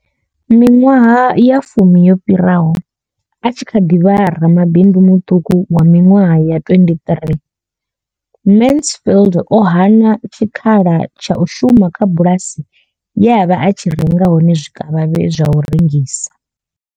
Miṅwaha ya fumi yo fhiraho a tshi kha ḓi vha ramabindu muṱuku wa miṅwaha ya 23 Mansfield o hana tshikhala tsha u shuma kha bulasi ye a vha a tshi renga hone zwikavhavhe zwa u rengisa.